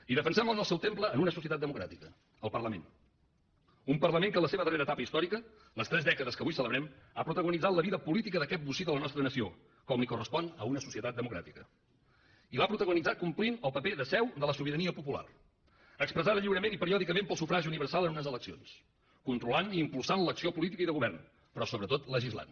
i defensem la en el seu temple en una societat democràtica el parlament un parlament que en la seva darrera etapa històrica les tres dècades que avui celebrem ha protagonitzat la vida política d’aquest bocí de la nostra nació com li correspon a una societat democràtica i l’ha protagonitzada complint el paper de seu de la sobirania popular expressada lliurement i periòdicament pel sufragi universal en unes eleccions controlant i impulsant l’acció política i de govern però sobretot legislant